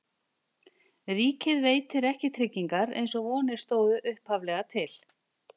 Ríkið veitir ekki tryggingar eins og vonir stóðu upphaflega til.